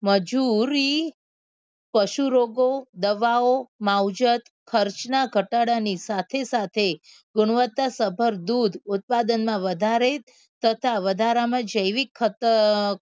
મજુરી પશુરોગો દવાઓ માવજત ખર્ચના ઘટાડાની સાથે સાથે ગુણવત્તા સફળ દૂધ ઉત્પાદનમાં વધારે તથા વધારામાં જૈવિક ખા